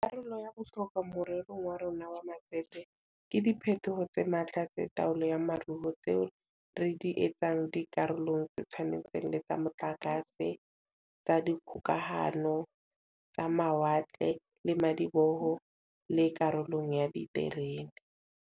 Karolo ya bohlokwa more rong wa rona wa matsete ke diphetoho tse matla tsa taolo ya moruo tseo re di etsang di karolong tse tshwanang le tsa motlakase, tsa dikgokahano, tsa mawatle le madiboho, le karolong ya diterene.